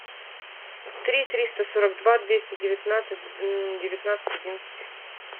три триста сорок два двести девятнадцать девятнадцать одиннадцать